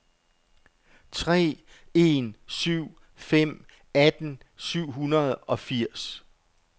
tre en syv fem atten syv hundrede og firs